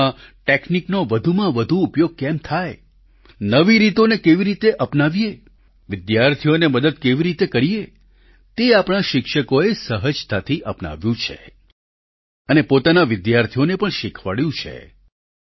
ભણવામાં ટેકનીકનો વધુમાં વધુ ઉપયોગ કેમ થાય નવી રીતોને કેવી રીતે અપનાવીએ વિદ્યાર્થીઓને મદદ કેવી રીતે કરીએ તે આપણા શિક્ષકોએ સહજતાથી અપનાવ્યું છે અને પોતાના વિદ્યાર્થીઓને પણ શિખવાડ્યું છે